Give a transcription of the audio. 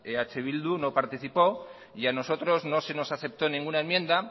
eh bildu no participó y a nosotros no se nos aceptó ninguna enmienda